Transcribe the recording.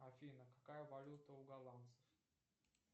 афина какая валюта у голландцев